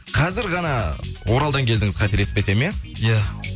қазір ғана оралдан келдіңіз қателеспесем иә иә